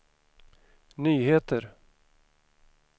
nyheter